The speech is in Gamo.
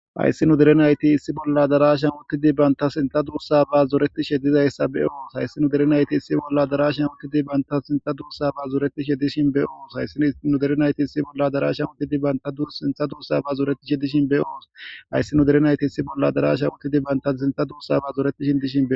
ayssi nu derenayti issi bolla darashan uttidi banta sinta duussa ba zoretishe dizayssa beyoos hayssi nu derenayti issi bolla darashan uttidi banta sinta duussa ba zuretishe dishin beyoos hayssi nu derenayti issi bolla darashan uttidi banta dur sintha duussa ba zuretishe dishin beyoos ayssi nu derenayti issi bolla darasha uttidi bantasinta duussa ba zoretishin dishin